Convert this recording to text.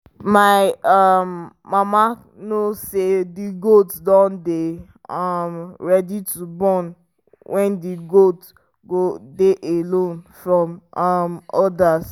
my um mama know say the goat dun dey um ready to born when the goat go dey alone from um others